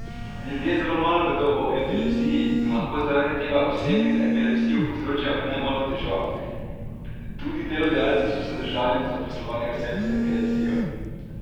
Ljudje zelo malo vedo o epilepsiji in lahko zaradi tega osebi z epilepsijo povzročajo nemalo težav, tudi delodajalci so zadržani do zaposlovanja oseb z epilepsijo.